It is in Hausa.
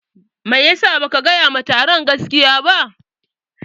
Maisa baka gaya wa taron gaskiya ba?